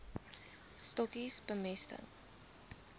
stokkies bemesting